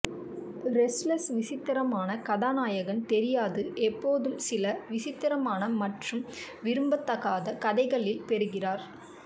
restless விசித்திரமான கதாநாயகன் தெரியாது எப்போதும் சில விசித்திரமான மற்றும் விரும்பத்தகாத கதைகளில் பெறுகிறார்